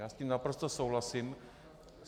Já s tím naprosto souhlasím.